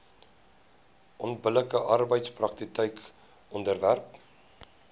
onbillike arbeidspraktyke onderwerp